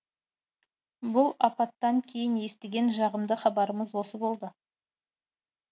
бұл апаттан кейін естіген жағымды хабарымыз осы болды